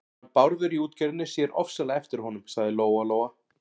Hann Bárður í útgerðinni sér ofsalega eftir honum, sagði Lóa-Lóa.